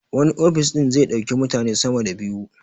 Wani ofis ɗin zai ɗauki mutane sama da biyu